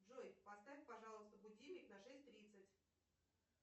джой поставь пожалуйста будильник на шесть тридцать